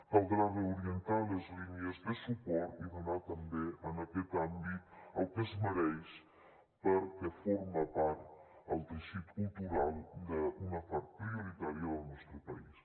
caldrà reorientar les línies de suport i donar també en aquest àmbit el que es mereix perquè forma part el teixit cultural d’una part prioritària del nostre país